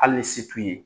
Hali ni se t'u ye